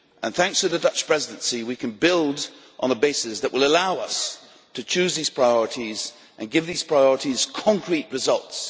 Thanks to the Dutch Presidency, we can build on a basis that will allow us to choose these priorities and give them concrete results.